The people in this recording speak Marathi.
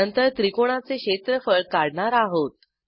नंतर त्रिकोणाचे क्षेत्रफळ काढणार आहोत